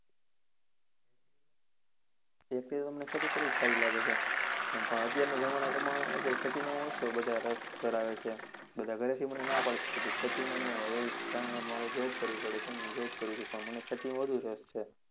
actually મને તોખેતી કરવી જ સારી લાગે છે. પણ અત્યારેના જમાના પ્રમાણે અત્યારે ખેતીની નો ઓછો બધા રસ ધરાવે છે. બધા ઘરેથી મને ના પાડે છે કે તું ખેતીમાં ના આવ. એ જ કારણે મારે job કરવી પડે છે ને job કરુ છુ પણ મને ખેતીમાં વધુ રસ છે.